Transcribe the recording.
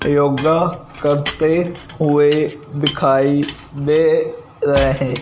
योगा करते हुए दिखाई दे रहे--